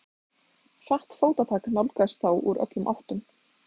Hratt fótatak nálgaðist þá úr öllum áttum.